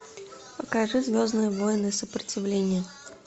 покажи звездные войны сопротивление